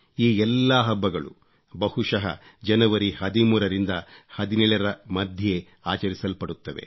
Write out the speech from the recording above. ಈ ಎಲ್ಲಾ ಹಬ್ಬಗಳೂ ಬಹುಶಃ ಜನವರಿ 13 ರಿಂದ 17 ರ ಮಧ್ಯೆ ಆಚರಿಸಲ್ಪಡುತ್ತವೆ